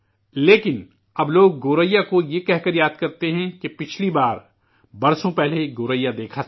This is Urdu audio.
لیکن اب لوگ گوریا کو یہ کہہ کر یاد کرتے ہیں کہ پچھلی بار، برسوں پہلے، گوریا دیکھا تھا